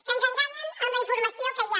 que ens enganyen amb la informació que hi ha